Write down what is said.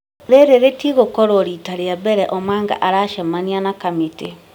Rĩrĩ rĩtigũkorũo rita rĩa mbere Omanga aracamania na kamĩtĩ.